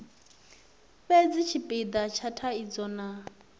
fhedzi tshipida tsha thaidzo na